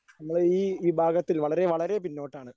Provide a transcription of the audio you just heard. നമ്മള് ഈ ഈ വിഭാഗത്തിൽ വളരെ വളരെ പിന്നോട്ടാണ്.